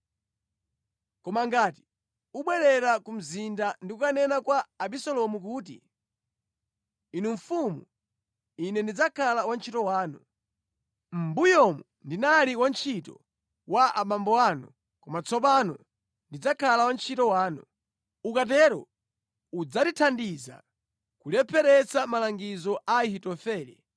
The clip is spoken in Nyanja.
Koma ngati ubwerera ku mzinda ndi kukanena kwa Abisalomu kuti, ‘Inu mfumu ine ndidzakhala wantchito wanu.’ Mʼmbuyomu ndinali wantchito wa abambo anu koma tsopano ndidzakhala wantchito wanu. Ukatero udzandithandiza kulepheretsa malangizo a Ahitofele.